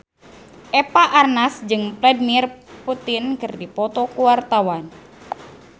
Eva Arnaz jeung Vladimir Putin keur dipoto ku wartawan